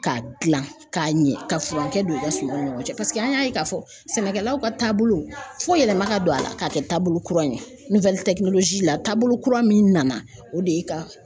K'a gilan k'a ɲɛ ka furankɛ don i ka sumanw ni ɲɔgɔn na paseke an y'a ye k'a fɔ sɛnɛkɛlaw ka taabolo fɔ yɛlɛma ka don a la k'a kɛ taabolo kura ye la taabolo kura min nana o de ye ka